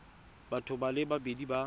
batho ba le babedi ba